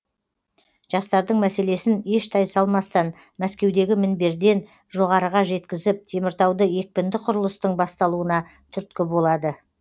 жастардың мәселесін еш тайсалмастан мәскеудегі мінберден жоғарыға жеткізіп теміртауда екпінді құрылыстың басталуына түрткі болады